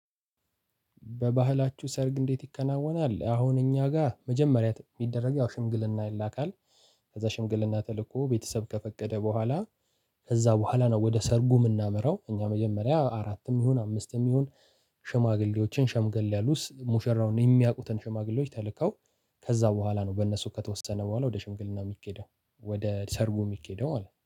በባህላችሁ ሰርግ እንዴት ይከናወናል? አሁን እኛ ጋር መጀመሪያ የሚደረግ ያው ሽምግልና ይላካል ከዛ ሽምግልና ተልኮ ቤተሰብ ከፈቀደ በኋላ ከዛ በኋላ ነው ወደ ሰርጉ የምናመራው እኛ መጀመሪያ አራትም ይሁን አምስትም ይሁን ሽማግሌዎችን ሸምገል ያሉ ሙሸራውን የሚያውቁትን ሽማግሌዎች ተልከው ከዛ በኋላ ነው በእነሱ ከተወሰነ በኋላ ወደ ሽምግልና የሚኬደው ወደ ሰርጉ የሚኬደው ማለት ነው።